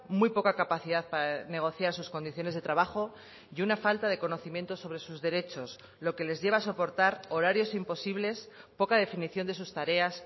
muy poca capacidad para negociar sus condiciones de trabajo y una falta de conocimientos sobre sus derechos lo que les lleva a soportar horarios imposibles poca definición de sus tareas